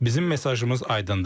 Bizim mesajımız aydındır.